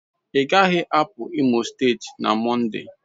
Ị gaghị apụ Imo steeti na Mọnde